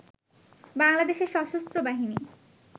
বাংলাদেশের সশস্ত্র বাহিনী